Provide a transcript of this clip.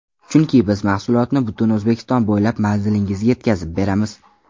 Chunki: - Biz mahsulotni butun O‘zbekiston bo‘ylab manzilingizga yetkazib beramiz!